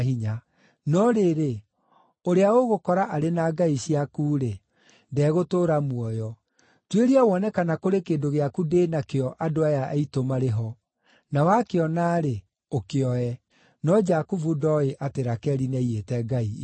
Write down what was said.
No rĩrĩ, ũrĩa ũgũkora arĩ na ngai ciaku-rĩ, ndegũtũũra muoyo. Tuĩria wone kana kũrĩ kĩndũ gĩaku ndĩ nakĩo andũ aya aitũ marĩ ho; na wakĩona-rĩ, ũkĩoe.” No Jakubu ndooĩ atĩ Rakeli nĩaiyĩte ngai icio.